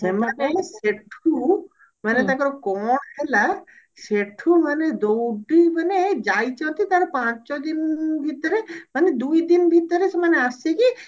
ସେମାନେ ସେଠୁ ମାନେ ତାଙ୍କର କଣ ହେଲା ସେଠୁ ମାନେ ଦଉଡି ମାନେ ଯାଇଛନ୍ତି ତାର ପାଞ୍ଚ ଦିନ ଭିତରେ ମାନେ ଦୁଇଦିନ ଭିତରେ ସେମାନେ ଆସିକି